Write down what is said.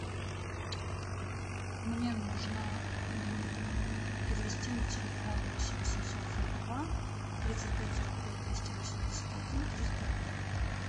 мне нужно перевести на телефон восемь восемьсот сорок два тридцать пять сорок пять двести восемьдесят один триста рублей